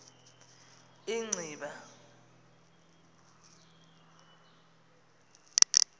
inciba